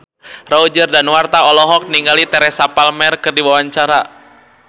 Roger Danuarta olohok ningali Teresa Palmer keur diwawancara